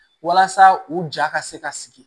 Walasa u ja ka se ka sigi